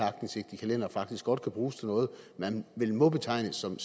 aktindsigt i kalendere faktisk godt kan bruges til noget man vel må betegne som